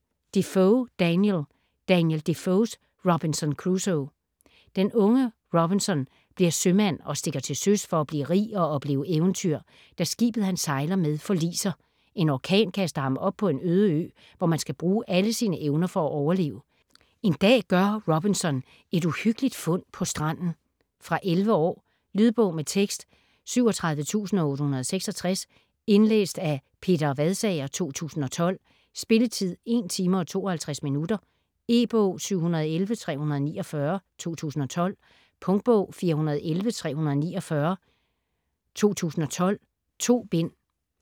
Defoe, Daniel: Daniel Defoes Robinson Crusoe Den unge Robinson bliver sømand og stikker til søs for at blive rig og opleve eventyr, da skibet han sejler med forliser. En orkan kaster ham op på en øde ø, hvor man skal bruge alle sine evner for at overleve. En dag gør Robinson et uhyggeligt fund på stranden. Fra 11 år. Lydbog med tekst 37866 Indlæst af Peter Vadsager, 2012. Spilletid: 1 timer, 52 minutter. E-bog 711349 2012. Punktbog 411349 2012. 2 bind.